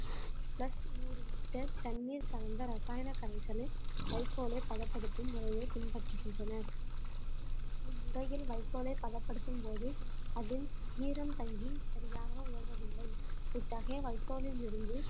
plus நூறு litre தண்ணீர் கலந்த ரசாயன கரைசலை வைக்கோலை பதப்படுத்தும் முறைய பின்பற்றுகின்றனர் இம்முறையில் வைக்கோலை பதப்படுத்தும் போது அதில் ஈரம் தங்கி சரியாக உலர்வதில்லை இத்தகைய வைக்கோலில் இருந்து